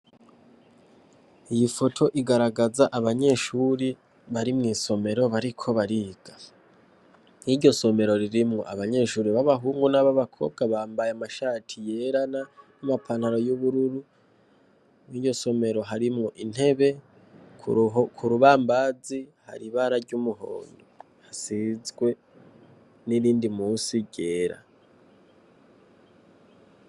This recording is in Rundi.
Iyi foto igaragaza abanyeshure bari mwisomero bariko bariga. Mwiryo somero ririmwo abanyeshure b'abahungu n'ababakobwa bambaye amashati yera n'amapantaro y'umubururu, mwiryosomero harimwo intebe k'urubambazi harimwo ibara ry'umuhondo hasizwe nirindi munsi ryera.